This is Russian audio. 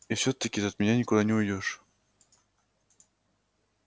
и всё-таки ты от меня никуда не уйдёшь